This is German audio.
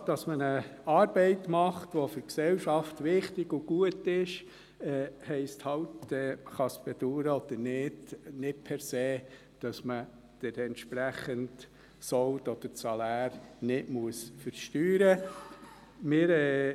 Die Tatsache, dass man eine Arbeit macht, die für die Gesellschaft wichtig und gut ist, heisst nicht per se – dies kann man bedauern oder nicht –, dass man den entsprechenden Sold oder das Salär nicht versteuern muss.